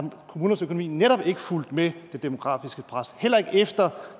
kommunernes økonomi netop ikke fulgt med det demografiske pres heller ikke efter